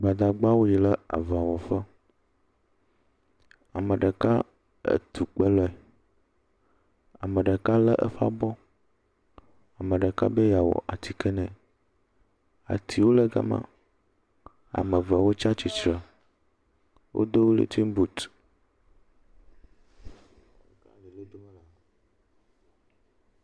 Gbadagbawo yi le aŋawɔ ƒe, ame ɖeka etukpe lɔe, ame ɖeka lé eƒe abɔ, ame ɖeka be yeawɔ atiki nɛ. Atiwo le gama, ame ve wotsa tsitsre, wodo welentiŋbut.